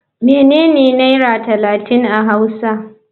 Menene naira talatin a hausa.